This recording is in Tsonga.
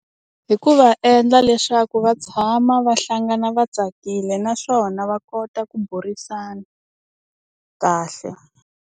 Hi ku va endla leswaku va tshama va hlangana va tsakile naswona va kota ku burisana kahle.